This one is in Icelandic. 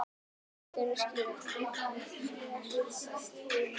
Leiðir þeirra skildi síðar.